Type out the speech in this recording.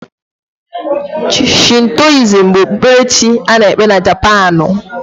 Shintoizm bụ okpukperechi a na-ekpe na Japaanu.